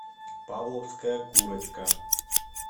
павловская курочка